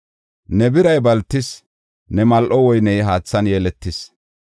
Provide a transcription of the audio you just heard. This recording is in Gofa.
Ne biray baltis; ne mal7o woyney haathan yeletis.